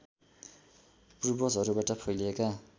पूर्वजहरूबाट फैलिएका